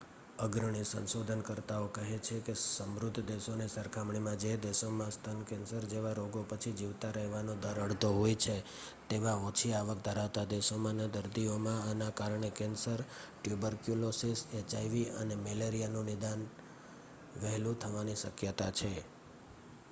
અગ્રણી સંશોધનકર્તાઓ કહે છે કે સમૃદ્ધ દેશોની સરખામણીમાં જે દેશોમાં સ્તન કેન્સર જેવા રોગો પછી જીવતા રહેવાનો દર અડધો હોય છે તેવા ઓછી આવક ધરાવતા દેશોમાંના દર્દીઓમાં આના કારણે કેન્સર ટ્યુબરક્યુલોસિસ એચઆઇવી અને મેલેરિયાનું નિદાન વહેલું થવાની શક્યતા છે